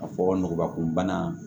A fɔ nɔgɔnbakun bana